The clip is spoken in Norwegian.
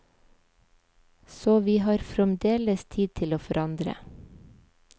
Så vi har fremdeles tid til å forandre.